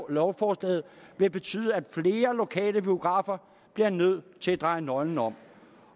at lovforslaget vil betyde at flere lokale biografer bliver nødt til at dreje nøglen om